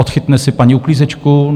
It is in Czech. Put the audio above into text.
Odchytne si paní uklízečku?